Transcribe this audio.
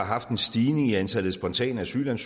synes jeg